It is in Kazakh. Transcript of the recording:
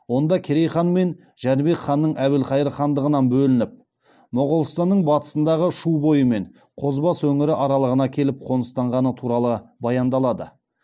онда керей хан мен жәнібек ханның әбілхайыр хандығынан бөлініп моғолстанның батысындағы шу бойы мен қозыбасы өңірі аралығына келіп қоныстанғаны туралы баяндалады